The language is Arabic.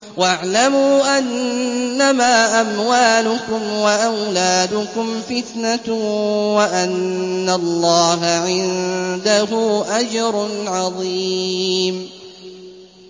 وَاعْلَمُوا أَنَّمَا أَمْوَالُكُمْ وَأَوْلَادُكُمْ فِتْنَةٌ وَأَنَّ اللَّهَ عِندَهُ أَجْرٌ عَظِيمٌ